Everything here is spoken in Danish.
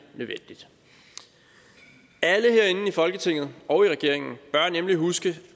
nødvendigt alle herinde i folketinget og regeringen bør nemlig huske